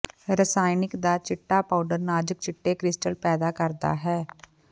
ਰਸਾਇਣਕ ਦਾ ਚਿੱਟਾ ਪਾਊਡਰ ਨਾਜੁਕ ਚਿੱਟੇ ਕ੍ਰਿਸਟਲ ਪੈਦਾ ਕਰਦਾ ਹੈ